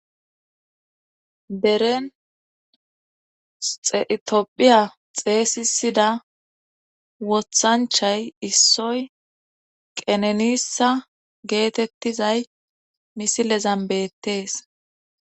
Beren etophiya xeeysisida wothanchay issoy qenenissa geetettizay misilezan beettees